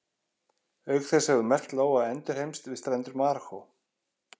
Auk þess hefur merkt lóa endurheimst við strendur Marokkó.